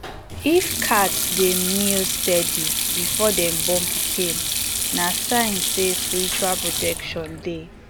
if cat dey meow steady before dem born pikin na sign say spiritual protection dey